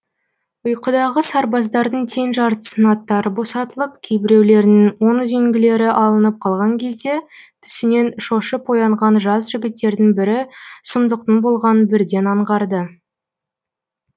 ұйқыдағы сарбаздардың тең жартысының аттары босатылып кейбіреулерінің оң үзеңгілері алынып қалған кезде түсінен шошып оянған жас жігіттердің бірі сұмдықтың болғанын бірден аңғарды